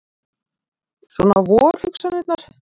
Svona vor hugsanirnar.